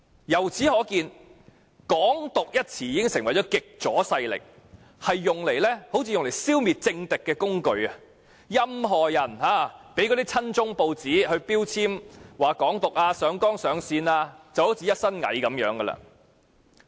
由此可見，"港獨"一詞已成為極左勢力用作消滅政敵的工具，任何人只要被親中報章說成是"港獨"分子、被上綱上線，便會落得"一身蟻"。